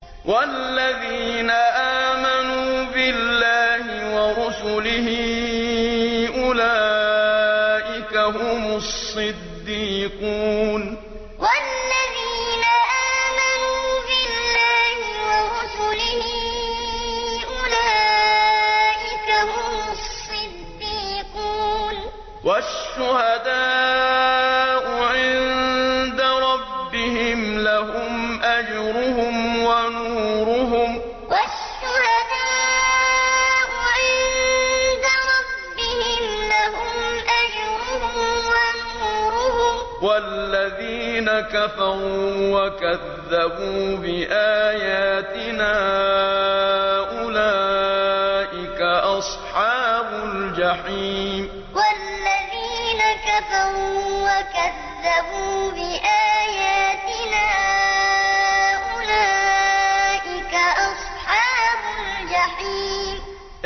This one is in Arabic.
وَالَّذِينَ آمَنُوا بِاللَّهِ وَرُسُلِهِ أُولَٰئِكَ هُمُ الصِّدِّيقُونَ ۖ وَالشُّهَدَاءُ عِندَ رَبِّهِمْ لَهُمْ أَجْرُهُمْ وَنُورُهُمْ ۖ وَالَّذِينَ كَفَرُوا وَكَذَّبُوا بِآيَاتِنَا أُولَٰئِكَ أَصْحَابُ الْجَحِيمِ وَالَّذِينَ آمَنُوا بِاللَّهِ وَرُسُلِهِ أُولَٰئِكَ هُمُ الصِّدِّيقُونَ ۖ وَالشُّهَدَاءُ عِندَ رَبِّهِمْ لَهُمْ أَجْرُهُمْ وَنُورُهُمْ ۖ وَالَّذِينَ كَفَرُوا وَكَذَّبُوا بِآيَاتِنَا أُولَٰئِكَ أَصْحَابُ الْجَحِيمِ